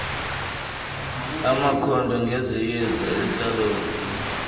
amakhondo ngezamayeza intlalontle